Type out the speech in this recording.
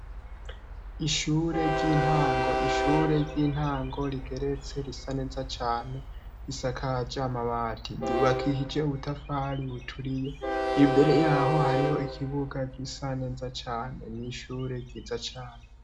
Ishure ry'intango; ishure ry'intango rigeretse, risa neza cane; risakaje amabati, ryubakishije ubutafari buturiye. Imbere yaho hariho ikibuga gisa neza cane, ni ishure ryiza cane.